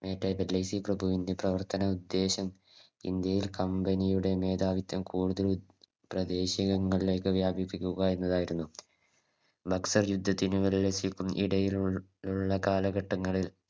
Dalhousie പ്രഭുവിൻറെ പ്രവർത്തന ഉദ്ദേശം ഇന്ത്യയിൽ Company യുടെ മേധാവിത്തം കൂടുതൽ പ്രദേശികങ്ങളിലേക്ക് വ്യാപിപ്പിക്കുക എന്നതായിരുന്നു നക്സൽ യുദ്ധത്തിനും ഇടയിലുള്ള കാലഘട്ടങ്ങളിൽ